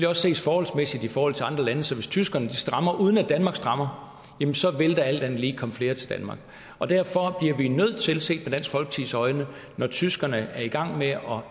også ses forholdsmæssigt i forhold til andre lande så hvis tyskerne strammer uden at danmark strammer jamen så vil der alt andet lige komme flere til danmark derfor bliver vi nødt til når tyskerne er i gang med at